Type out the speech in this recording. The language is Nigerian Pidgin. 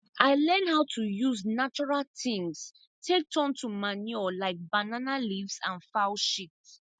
i learn how to use natural things take turn to manure like banana leaves and fowl shit